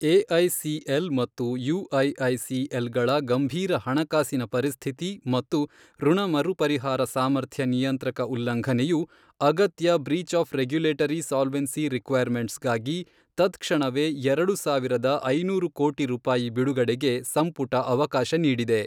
AICL ಮತ್ತು UIICL ಗಳ ಗಂಭೀರ ಹಣಕಾಸಿನ ಪರಿಸ್ಥಿತಿ ಮತ್ತು ಋಣ ಮರುಪರಿಹಾರ ಸಾಮರ್ಥ್ಯ ನಿಯಂತ್ರಕ ಉಲ್ಲಂಘನೆಯು, ಅಗತ್ಯ breach of regulatory solvency requirements ಗಾಗಿ ತತ್ ಕ್ಷಣವೇ ಎರಡು ಸಾವಿರದ ಐನೂರು ಕೋಟಿ ರೂಪಾಯಿ ಬಿಡುಗಡೆಗೆ ಸಂಪುಟ ಅವಕಾಶ ನೀಡಿದೆ.